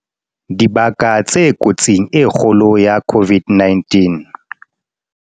Dibaka tse kotsing e kgolo ya COVID-19